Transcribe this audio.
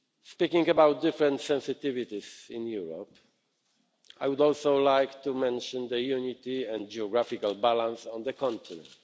Speaking about different sensitivities in Europe, I would also like to mention unity and geographical balance on the continent.